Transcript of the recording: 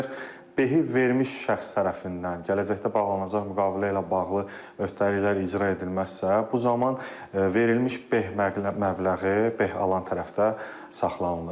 Əgər behi vermiş şəxs tərəfindən gələcəkdə bağlanılacaq müqavilə ilə bağlı öhdəliklər icra edilməzsə, bu zaman verilmiş beh məbləği beh alan tərəfdə saxlanılır.